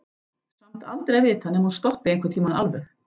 Samt aldrei að vita nema hún stoppi einhvern tímann alveg.